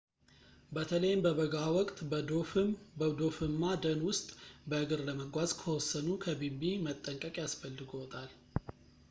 በተለይም በበጋ ወቅት በዶፍማ ደን ውስጥ በእግር ለመጓዝ ከወሰኑ ከቢንቢ መጠንቀቅ ያስፈልግዎታል